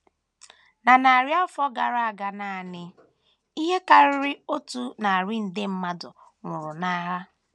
Na narị afọ gara aga nanị, ihe karịrị otu narị nde mmadụ nwụrụ n’agha.